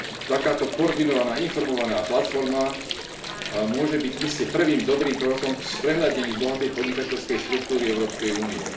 Takáto koordinovaná informovaná platforma môže byť iste prvým dobrým krokom k sprehľadneniu bohatej podnikateľskej štruktúry Európskej únie.